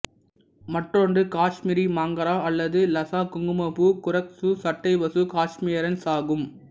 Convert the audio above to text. மற்றொன்று காஷ்மீரி மாங்ரா அல்லது லசா குங்குமப்பூ குரோக்கசு சட்டைவசு காஷ்மீரியானஸ் ஆகும்